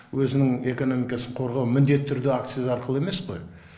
өзінің экономикасын қорғау міндетті түрде акциз арқылы емес қой